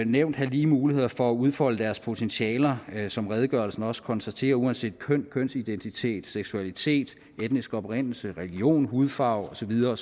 nævnt have lige muligheder for at udfolde deres potentialer som redegørelsen også konstaterer uanset køn kønsidentitet seksualitet etnisk oprindelse religion hudfarve og så videre